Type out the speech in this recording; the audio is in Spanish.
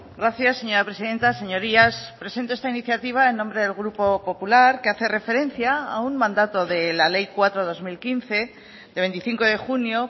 gracias señora presidenta señorías presento esta iniciativa en nombre del grupo popular que hace referencia a un mandato de la ley cuatro barra dos mil quince de veinticinco de junio